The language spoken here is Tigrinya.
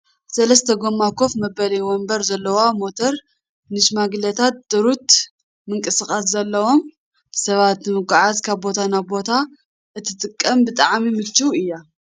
ሰለስተ ጎማ ኮፍ መበሊ ወንበር ዘለዋ ሞተር ንሽማግለታትን ድሩት ምንቅስቓስ ዘለዎም ሰባት ንምጉዓዝ ካብ ቦታ ናብ ቦታ እትጠቅም ብጣዕሚ ምችውቲ እያ።